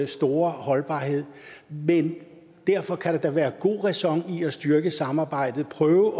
store holdbarhed men derfor kan der da være god ræson i at styrke samarbejdet prøve